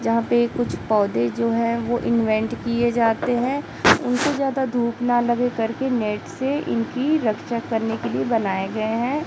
जहां पे कुछ पौधे जो है वो इंवेंट किए जाते है उनको ज्यादा धूप ना लगे करके नेट से इनकी रक्षा करने के लिए बनाए गए है।